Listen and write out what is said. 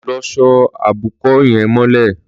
Lọ só óbùkọ̀ yèn mọlẹ